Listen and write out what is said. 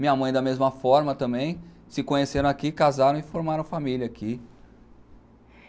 Minha mãe, da mesma forma também, se conheceram aqui, casaram e formaram família aqui.